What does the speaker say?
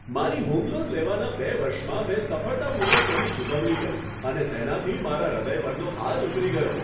મારી home loan લેવાના બે વર્ષમાં મેં સફળતાપૂર્વક તેની ચૂકવણી કરી અને તેનાથી મારા હૃદય પરનો ભાર ઉતરી ગયો.